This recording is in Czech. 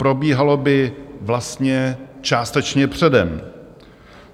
Probíhalo by vlastně částečně předem.